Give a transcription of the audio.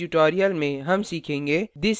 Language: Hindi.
इस tutorial में हम सीखेंगे